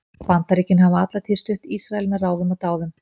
Bandaríkin hafa alla tíð stutt Ísrael með ráðum og dáð.